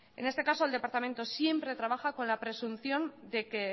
en este caso el departamento siempre trabaja con la presunción de que